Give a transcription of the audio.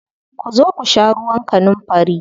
Ku zo ku sha ruwan kanunfari.